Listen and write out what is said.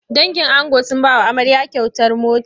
Dangin ango sun ba wa amarya kyautar mota.